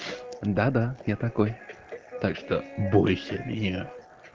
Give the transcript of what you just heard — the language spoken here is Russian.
да да я такой так что бойся меня